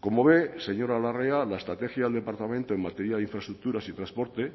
como ve señora larrea la estrategia del departamento en materia de infraestructuras y transporte